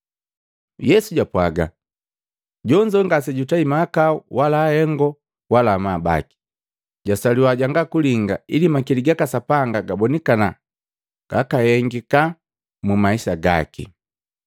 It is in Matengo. Yesu japwaga, “Jonzo ngasejatei mahakau wala ahengo na amabu baki. Jwasaliwi jwangalinga ili makili gaka Sapanga gabonikana gakahengika mumaisa gaki.